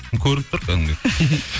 көрініп тұр кәдімгідей